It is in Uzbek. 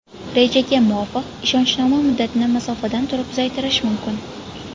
Rejaga muvofiq, ishonchnoma muddatini masofadan turib uzaytirish mumkin.